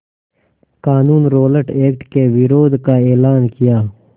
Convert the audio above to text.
क़ानून Rowlatt Act के विरोध का एलान किया